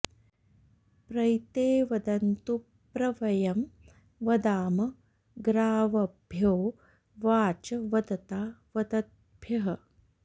प्रैते व॑दन्तु॒ प्र व॒यं व॑दाम॒ ग्राव॑भ्यो॒ वाचं॑ वदता॒ वद॑द्भ्यः